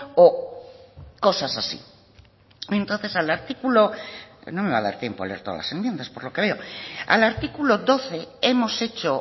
o cosas así entonces al artículo no me va a dar tiempo a leer todas las enmienda por lo que veo al artículo doce hemos hecho